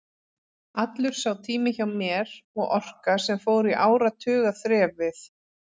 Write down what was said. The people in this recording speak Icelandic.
Allur sá tími hjá mér og orka, sem fór í áratuga þref við